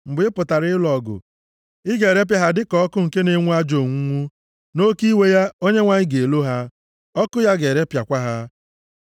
Mgbe ị pụtara ịlụ ọgụ, ị ga-erepịa ha dịka ọkụ nke na-enwu ajọ onwunwu. Nʼoke iwe ya, Onyenwe anyị ga-elo ha, ọkụ ya ga-erepịakwa ha.